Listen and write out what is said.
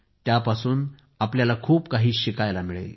त्यामधून आपल्याला खूप काही शिकायला मिळेल